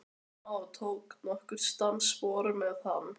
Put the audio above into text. Stjána og tók nokkur dansspor með hann.